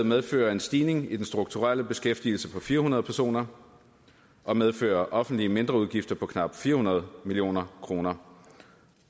medfører en stigning i den strukturelle beskæftigelse på fire hundrede personer og medfører offentlige mindreudgifter på knap fire hundrede million kroner